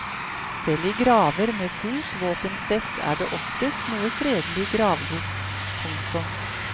Selv i graver med fullt våpensett er det oftest noe fredelig gravgods. punktum